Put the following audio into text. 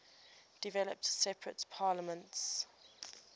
developed separate parliaments